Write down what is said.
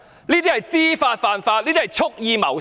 這是知法犯法，是蓄意謀殺。